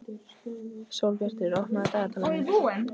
Sólbjartur, opnaðu dagatalið mitt.